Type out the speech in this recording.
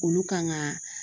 Olu kan ka